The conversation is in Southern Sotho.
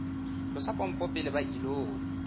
tlosa pompo pele ba ilo